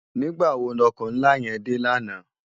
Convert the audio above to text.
Nigbá wó no òkò nlá yèn dé làná?